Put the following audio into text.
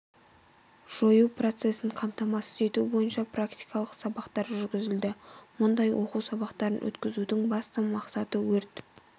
жою процесін қамтамасыз ету бойынша практикалық сабақтар жүргізілді мұндай оқу сабақтарын өткізудің басты мақсаты өрт